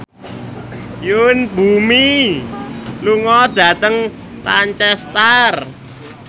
Yoon Bomi lunga dhateng Lancaster